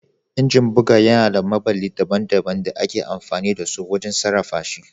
Injin buga yana da maɓalli daban-daban da ake amfani da su wajen sarrafa shi.